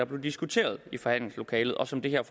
blev diskuteret i forhandlingslokalet og som det her